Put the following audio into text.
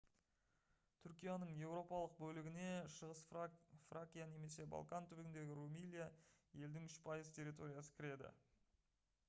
түркияның еуропалық бөлігіне шығыс фракия немесе балкан түбегіндегі румелия елдің 3% территориясы кіреді